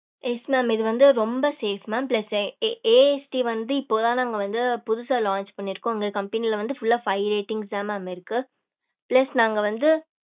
yes mam இது வந்து ரொம்ப safe mam plus AST வந்து இப்போ தா நாங்க வந்து புதுசா launch பண்ணிருகோம் இங்க company ல வந்து full ஆஹ் five ratings த mam இருக்கு plus நாங்க வந்து